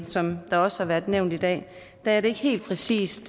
som det også har været nævnt i dag er det ikke helt præcist